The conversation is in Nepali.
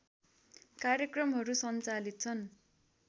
कार्यक्रमहरू सञ्चालित छन्